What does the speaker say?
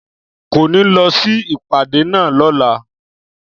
Kò ní lọ sí ìpàdé náà lọ́la